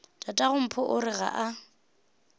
tatagompho o re ga a